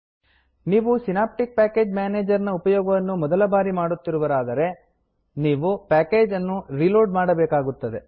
ನೀವು Synaptic package manager ನ ಉಪಯೋಗವನ್ನು ಮೊದಲ ಬಾರಿಗೆ ಮಾಡುತ್ತಿರುವಿರಾದರೆ ನೀವು ಪ್ಯಾಕೇಜ್ ಅನ್ನು ರೀಲೋಡ್ ಮಾಡಬೇಕಾಗುತ್ತದೆ